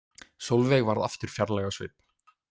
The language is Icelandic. Sólveig varð aftur fjarlæg á svip.